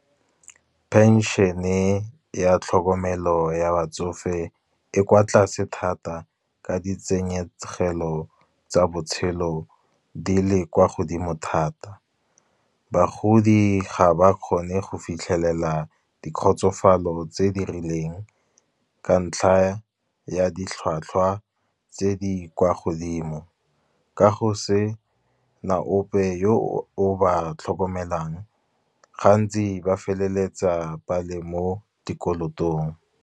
Pension-e ya tlhokomelo ya batsofe e kwa tlase thata, ka ditshenyegelo tsa botshelo di le kwa godimo thata. Bagodi ga ba kgone go fitlhelela di kgotsofalo tse di rileng, ka ntlha ya ditlhwatlhwa tse di kwa godimo. Kago sena ope yo o ba tlhokomelang, gantsi ba feleletsa ba le mo dikolotong.